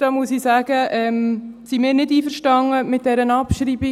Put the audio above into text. Da muss ich sagen, dass wir mit dieser Abschreibung nicht einverstanden sind.